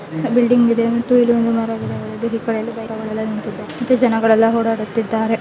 Building ಇದೆ ಮತ್ತು ಇಲ್ಲಿ ಒಂದು ಮರವಿದೆ ಇಲ್ಲೆಲ್ಲಾ ಬೈಕುಗಳು ಆಟೋಗಳು ನಿಂತಿದ್ದು ಜನಗಳೆಲ್ಲಾ ಓಡಾಡುತ್ತಿದ್ದಾರೆ .